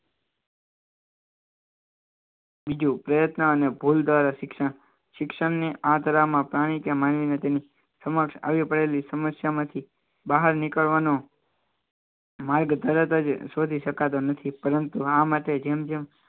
બીજું કહેતા અને ભૂલ દ્વારા શિક્ષણ શિક્ષણની આતરડા માં પાણી કે માનવીને તેની સમક્ષ આવી પડેલી સમસ્યા માંથી બહાર નીકળવાનો માર્ગ ધરાવતા જ શોધી શકાતો નથી પરંતુ આ માટે જેમ જેમ